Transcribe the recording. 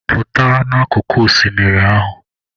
Pụta n'akụkụ oshimiri ahụ!